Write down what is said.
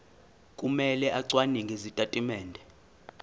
kumele acwaninge izitatimende